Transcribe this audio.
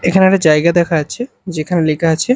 এখানে একটা জায়গা দেখা যাচ্চে যেখানে লেখা আচে--